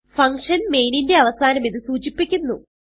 function main ന്റെ അവസാനം ഇത് സൂചിപ്പിക്കുന്നു